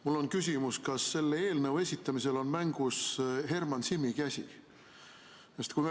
Mul on küsimus: kas selle eelnõu esitamisel on mängus Herman Simmi käsi?